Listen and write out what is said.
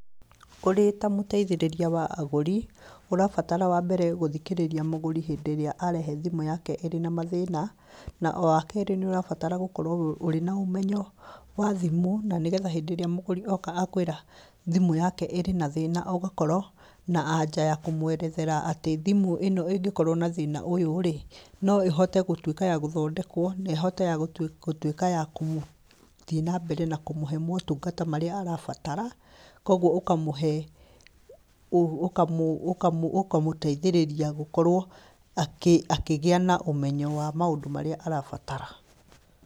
Ũrĩ ta mũteithĩrĩria wa agũri, ũrabatara wa mbere gũthikĩrĩria mũgũri hĩndĩ ĩrĩa arehe thimũ yake ĩrĩ na mathĩna, na wa kerĩ nĩ ũrabatara gũkorwo ũrĩ na ũmenyo wa thimũ, na nĩgetha hĩndĩrĩa mũgũri oka akwĩra thimũ yake ĩrĩ na thĩna, ũgakorwo na anja ya kũmwerethera atĩ thimũ ĩno ĩngĩkorwo na thĩna ũyũ-rĩ, no ĩhote gũtuĩka ya gũthondekwo na ĩhote yagũtu, gũtuĩka ya kũmũ, gũthiĩ na mbere na kũmũhe motungata marĩa arabatara, kogwo ũkamũhe, ũkamũ, ũkamũ, ũkamũteithĩrĩria gũkorwo akĩ, akĩgĩa na ũmenyo wa maũndũ marĩa arabatara.